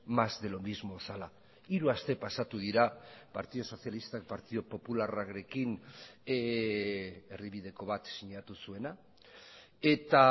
más de lo mismo zela hiru aste pasatu dira partidu sozialistak partidu popularrarekin erdibideko bat sinatu zuena eta